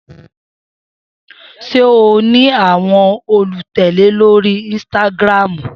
Se ó ní àwọn olùtẹ̀lẹ́ lorii ínsítágírámú?